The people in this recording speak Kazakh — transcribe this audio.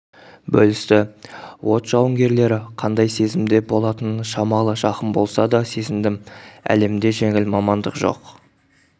бөлісті от жауынгерлері қандай сезімде болатынын шамалы жақын болса да сезіндім әлемде жеңіл мамандық жоқ